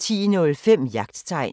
10:05: Jagttegn